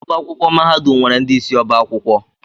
Ọbá akwụkwọ mahadum nwere ndị isi ọ́bà akwụkwọ.